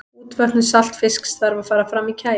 útvötnun saltfisks þarf að fara fram í kæli